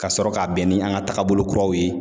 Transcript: Ka sɔrɔ ka bɛn ni an ka tagabolo kuraw ye